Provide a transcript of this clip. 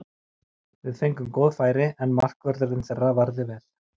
Við fengum góð færi, en markvörðurinn þeirra varði vel.